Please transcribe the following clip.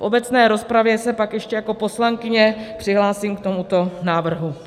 V obecné rozpravě se pak ještě jako poslankyně přihlásím k tomuto návrhu.